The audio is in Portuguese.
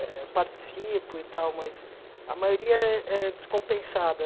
Eh participo e tal, mas a maioria é é descompensada.